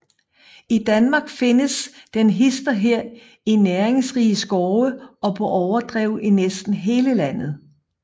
I Danmark findes den hist og her i næringsrige skove og på overdrev i næsten hele landet